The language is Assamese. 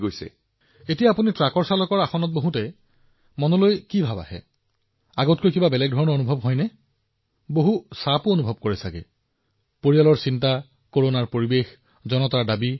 আপুনি যেতিয়া আপোনাৰ ট্ৰাকৰ ড্ৰাইভিং চিটত থাকে তেতিয়া আপোনাৰ মনত কি অনুভৱ হয় আগৰ তুলনাত কি বেলেগ অভিজ্ঞতা যথেষ্ট চাপ থাকে নেকি মানসিক চাপ থাকে নেকি পৰিয়ালৰ চিন্তা কৰোনা পৰিবেশ মানুহৰ চাপ দাবী